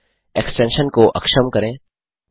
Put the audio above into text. extension को अक्षम करें